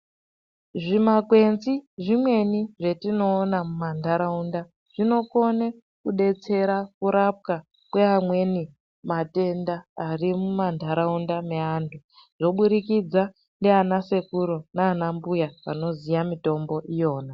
Zvimakwenzi zvimweni zvatinoona mumandaraunda zvinokone kudetsera kurapwa kweamweni matenda ari mumandaraunda meantu zvoburikidza nana sekuru nana mbuya vanoziva mutombo iyona.